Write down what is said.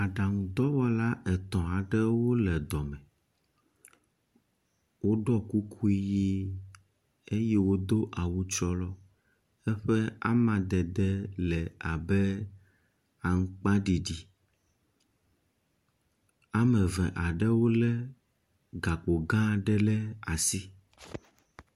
Aɖaŋudɔwɔla etɔ̃ aɖewo le dɔ me, woɖɔ kuku ʋi eye wodo awu trɔlɔ eƒe amadede le abe aŋugbaɖiɖi. ame eve aɖewo lé gakpo gã aɖe ɖe asi.